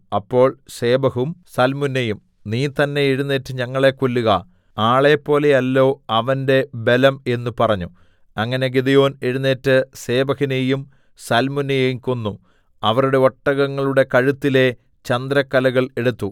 അപ്പോൾ സേബഹും സൽമുന്നയും നീ തന്നേ എഴുന്നേറ്റ് ഞങ്ങളെ കൊല്ലുക ആളെപ്പോലെയല്ലോ അവന്റെ ബലം എന്ന് പറഞ്ഞു അങ്ങനെ ഗിദെയോൻ എഴുന്നേറ്റ് സേബഹിനെയും സൽമുന്നയെയും കൊന്നു അവരുടെ ഒട്ടകങ്ങളുടെ കഴുത്തിലെ ചന്ദ്രക്കലകൾ എടുത്തു